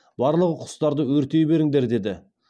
барлығы құстарды өртей беріңдер деді